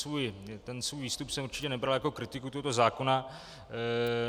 Svůj výstup jsem určitě nebral jako kritiku tohoto zákona.